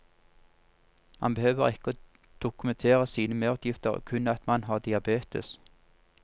Man behøver ikke å dokumentere sine merutgifter, kun at man har diabetes.